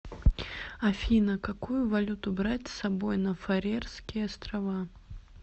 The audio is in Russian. афина какую валюту брать с собой на фарерские острова